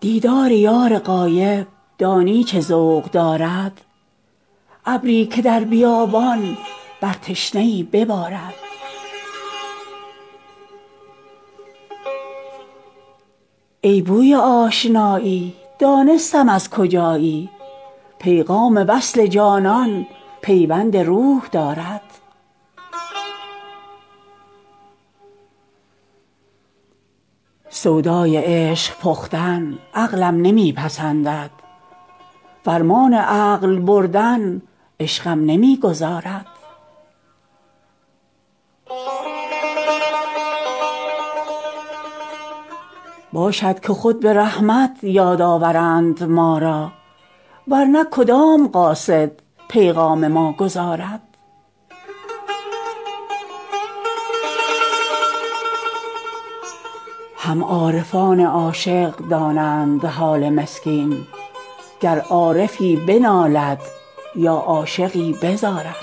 دیدار یار غایب دانی چه ذوق دارد ابری که در بیابان بر تشنه ای ببارد ای بوی آشنایی دانستم از کجایی پیغام وصل جانان پیوند روح دارد سودای عشق پختن عقلم نمی پسندد فرمان عقل بردن عشقم نمی گذارد باشد که خود به رحمت یاد آورند ما را ور نه کدام قاصد پیغام ما گزارد هم عارفان عاشق دانند حال مسکین گر عارفی بنالد یا عاشقی بزارد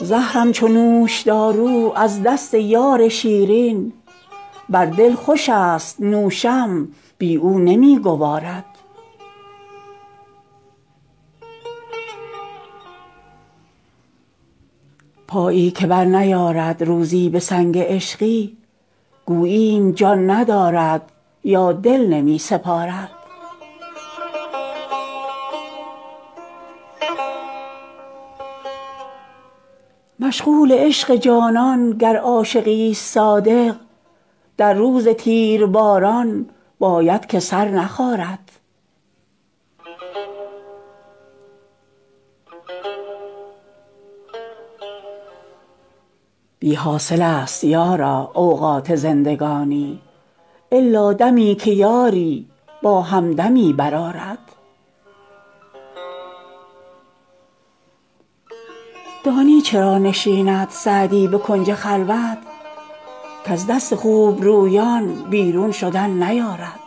زهرم چو نوشدارو از دست یار شیرین بر دل خوشست نوشم بی او نمی گوارد پایی که برنیارد روزی به سنگ عشقی گوییم جان ندارد یا دل نمی سپارد مشغول عشق جانان گر عاشقیست صادق در روز تیرباران باید که سر نخارد بی حاصلست یارا اوقات زندگانی الا دمی که یاری با همدمی برآرد دانی چرا نشیند سعدی به کنج خلوت کز دست خوبرویان بیرون شدن نیارد